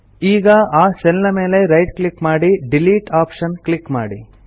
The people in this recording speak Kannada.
ಈಗ ಆ ಸೆಲ್ ಮೇಲೆ ರೈಟ್ ಕ್ಲಿಕ್ ಮಾಡಿ ಡಿಲೀಟ್ ಆಪ್ಷನ್ ಕ್ಲಿಕ್ ಮಾಡಿ